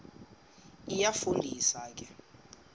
iyafu ndisa ke